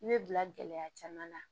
I bɛ bila gɛlɛya caman na